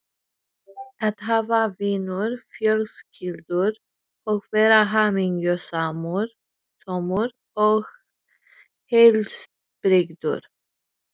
Karen Kjartansdóttir: Hver eru þín stefnumál helst?